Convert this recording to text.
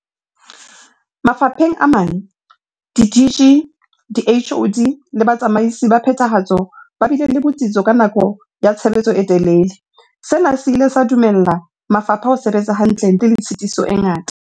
Mafapheng a mang, di-DG, di-HoD le batsamaisi ba phethahatso ba bile le bo tsitso ka nako ya tshebetso e telele, sena se ile sa dumella mafapha ho sebetsa hantle ntle le tshitiso e ngata.